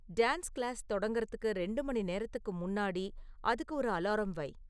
dance class தொடங்குறதுக்கு ரெண்டு மணி நேரத்துக்கு முன்னாடி அதுக்கு ஒரு அலாரம் வை